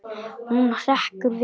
Hún hrekkur við.